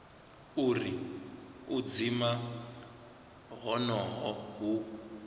uri u dzima honoho hu